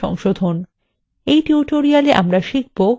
in tutorial আমরা শিখব :